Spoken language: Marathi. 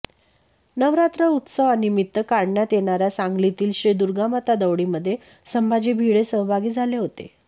नवरात्र उत्सवानिमित्त काढण्यात येणाऱया सांगलीतील श्री दुर्गामाता दौडीमध्ये संभाजी भिडे सहभागी झाले होते